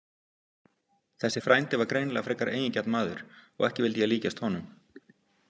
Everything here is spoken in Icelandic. Þessi frændi var greinilega frekar eigingjarn maður og ekki vildi ég líkjast honum.